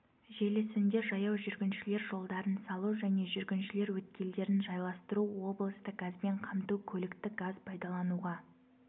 желісінде жаяу жүргіншілер жолдарын салу және жүргіншілер өткелдерін жайластыру облысты газбен қамту көлікті газ пайдалануға